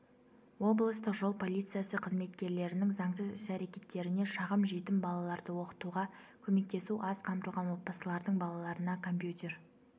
облыстық жол полициясы қызметкерлерінің заңсыз іс-әрекеттеріне шағым жетім балаларды оқытуға көмектесу аз қамтылған отбасылардың балаларына компьютер